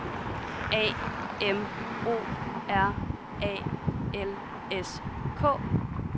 A M O R A L S K